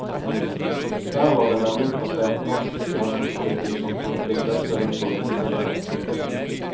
Der var det nemlig plassert norsk grensepoliti som kjente de fleste rundt om i distriktet.